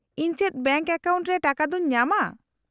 -ᱤᱧ ᱪᱮᱫ bank account ᱨᱮ ᱴᱟᱠᱟᱫᱚᱧ ᱧᱟᱢᱟ ?